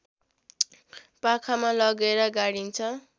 पाखामा लगेर गाडिन्छ